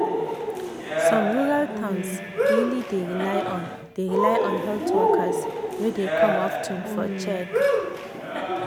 some rural towns really dey rely on dey rely on health workers wey dey come of ten for check.